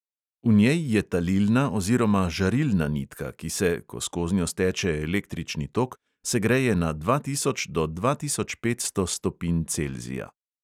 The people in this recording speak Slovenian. V njej je talilna oziroma žarilna nitka, ki se, ko skoznjo steče električni tok, segreje na dva tisoč do dva tisoč petsto stopinj celzija.